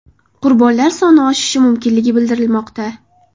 Qurbonlar soni oshishi mumkinligi bildirilmoqda.